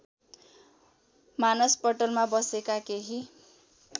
मानसपटलमा बसेका केही